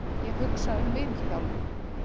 Ég hugsa um Vilhjálm.